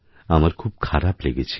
আমার খুব খারাপলেগেছিল